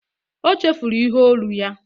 O chefuru ihe olu ya